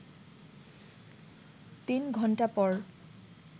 তিন ঘণ্টা পর